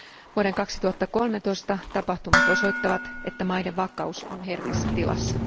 Vuoden 2013 tapahtumat osoittavat, että maiden vakaus on herkässä tilassa.